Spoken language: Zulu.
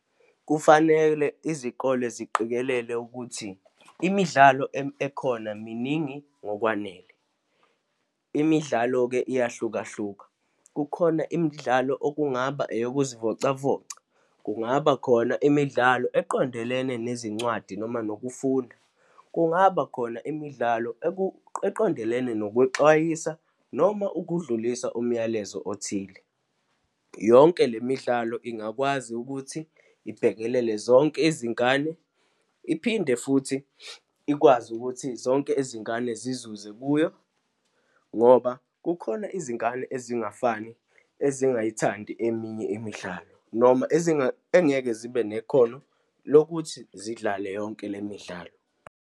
Kufanele izikole ziqikelele ukuthi imidlalo ekhona miningi ngokwanele. Imidlalo-ke iyahlukahluka. Kukhona imidlalo okungaba eyokuzivocavoca, kungaba khona imidlalo eqondelene nezincwadi noma nokufunda, kungaba khona imidlalo eqondelene nokwexwayisa noma ukudlulisa umyalezo othile. Yonke le midlalo ingakwazi ukuthi ibhekelele zonke izingane, iphinde futhi ikwazi ukuthi zonke izingane zizuze kuyo, ngoba kukhona izingane ezingafani ezingayithandi eminye imidlalo, noma engeke zibe nekhono lokuthi zidlale yonke le midlalo.